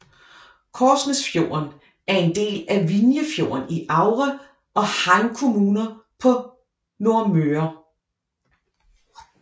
Korsnesfjorden er en del af Vinjefjorden i Aure og Heim kommuner på Nordmøre